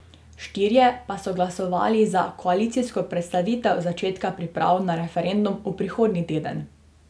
Štirje pa so glasovali za koalicijsko prestavitev začetka priprav na referendum v prihodnji teden.